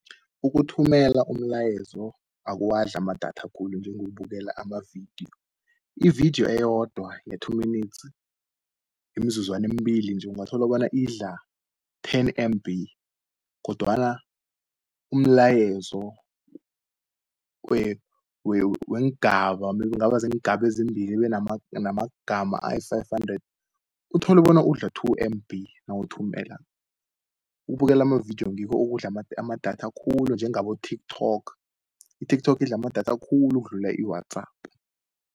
Ukuthumela umlayezo akuwadli amadatha khulu njengo kubukela amavidiyo. Ividiyo eyodwa nge-two minutes, iimzuzwane embili nje, ungathola bona idla ten M_B, kodwana umlayezo weengaba kungaba zingabezimbili ibe namagama ayi-five hundred, utholu bona udla two M_B, nawuthumelako. Ukubukela amavidiyo ngikho ukudla amadatha khulu njengabo TikTok. I-TikTok idla amadatha khulu, ukudlula i-WhatsApp.